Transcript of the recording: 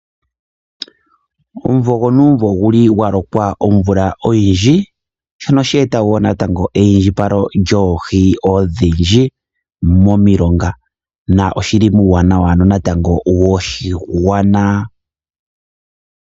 Omvula yonuumvo omvula oya loka nawa sho shili wo sha eta eiyindjipalo lyoohi odhindji momilonga shika oshili shina uuwanawa koshigwana.